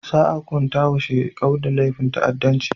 Za a hunkunta wa Shekau da laifin ta'addanci.